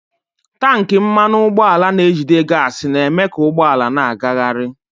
Tankị mmanụ ụgbọala na-ejide gaasị na-eme ka ụgbọ ala na-agagharị.